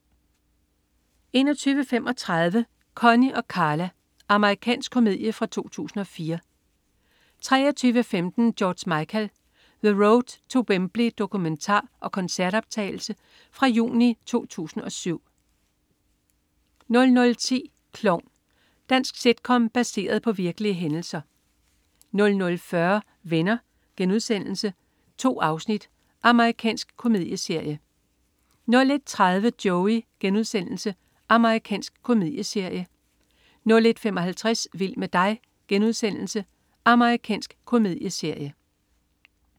21.35 Connie & Carla amr. komedie fra 2004 23.15 George Michael. The Road to Wembley dokumentar og koncertoptagelse fra juni 2007 00.10 Klovn. Dansk sitcom baseret på virkelige hændelser 00.40 Venner.* 2 afsnit. Amerikansk komedieserie 01.30 Joey.* Amerikansk komedieserie 01.55 Vild med dig.* Amerikansk komedieserie